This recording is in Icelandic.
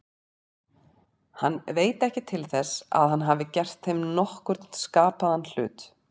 Hann veit ekki til þess að hann hafi gert þeim nokkurn skapaðan hlut.